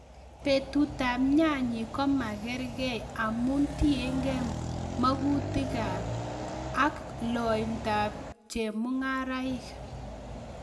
Butetab nyanyik komakerkei amun tiengei mokutikab ak lointab chemung'araik.